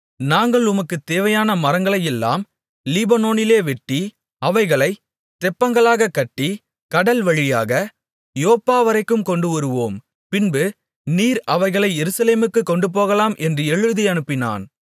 நாங்கள் உமக்குத் தேவையான மரங்களையெல்லாம் லீபனோனிலே வெட்டி அவைகளைத் தெப்பங்களாகக் கட்டி கடல் வழியாக யோப்பாவரைக்கும் கொண்டுவருவோம் பின்பு நீர் அவைகளை எருசலேமுக்குக் கொண்டுபோகலாம் என்று எழுதி அனுப்பினான்